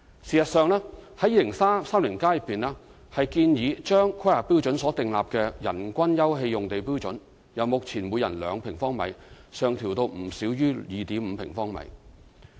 事實上，《香港 2030+》建議把《規劃標準》所訂立的人均休憩用地標準，由目前每人2平方米上調至不少於 2.5 平方米。